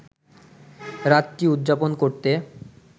রাতটি উদযাপন করতে